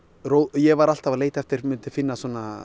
ég var alltaf að leita eftir myndi finna